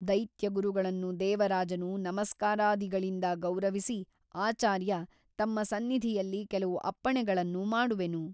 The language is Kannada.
ದೈತ್ಯಗುರುಗಳನ್ನು ದೇವರಾಜನು ನಮಸ್ಕಾರಾದಿಗಳಿಂದ ಗೌರವಿಸಿ ಆಚಾರ್ಯ ತಮ್ಮ ಸನ್ನಿಧಿಯಲ್ಲಿ ಕೆಲವು ಅಪ್ಪಣೆಗಳನ್ನು ಮಾಡುವೆನು.